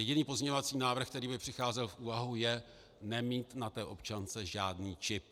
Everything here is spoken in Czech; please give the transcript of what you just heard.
Jediný pozměňovací návrh, který by přicházel v úvahu, je nemít na té občance žádný čip.